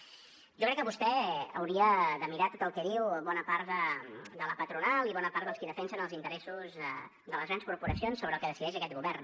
jo crec que vostè hauria de mirar tot el que diu bona part de la patronal i bona part dels qui defensen els interessos de les grans corporacions sobre el que decideix aquest govern